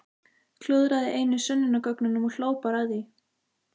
Klúðraði einu sönnunargögnunum og hló bara að því!